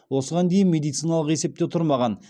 осыған дейін медициналық есепте тұрмаған